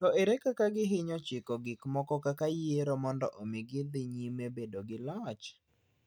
To ere kaka gihinyo chiko gik moko kaka yiero mondo omi gidhi nyime bedo gi loch?